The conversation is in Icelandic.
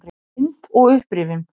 Mynd og upprifjun